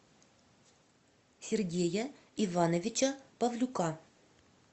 сергея ивановича павлюка